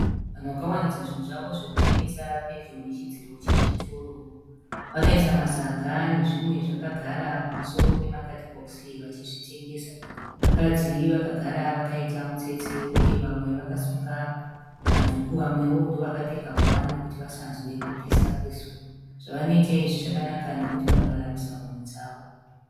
Vanhu vakawaridza zvinhu zvavo zvekutengesa pedyo nechidziro chechitoro. Vakaisa masaga nezvimwe zvakagara pamusoro pema kadhibhokisi vachizvitengesa. Vakadzi Vakagara vakaita mutsetse uye vamwe vakasunga madhuku vamwewo ndovakapfeka nguwani kuti vasanzwe kupisa kwezuva. Zvavanoita izvi zvakanaka nokuti vanoraramisa mhuri dzavo.